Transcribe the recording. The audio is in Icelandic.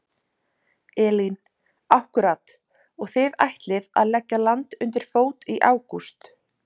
Elín: Akkúrat og þið ætlið að leggja land undir fót í ágúst?